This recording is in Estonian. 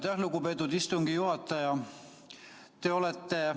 Aitäh, lugupeetud istungi juhataja!